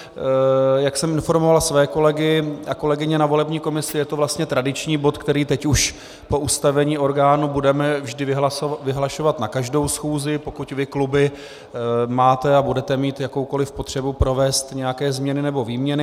Jak jsem informoval své kolegy a kolegyně ve volební komisi, je to vlastně tradiční bod, který teď už po ustavení orgánu budeme vždy vyhlašovat na každou schůzi, pokud vy kluby máte a budete mít jakoukoli potřebu provést nějaké změny nebo výměny.